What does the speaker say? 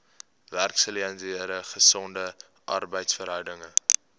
werksgeleenthede gesonde arbeidsverhoudinge